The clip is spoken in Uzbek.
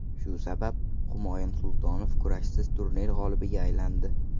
Shu sabab, Humoyun Sultonov kurashsiz turnir g‘olibiga aylandi.